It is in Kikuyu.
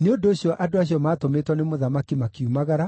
Nĩ ũndũ ũcio andũ acio maatũmĩtwo nĩ mũthamaki makiumagara,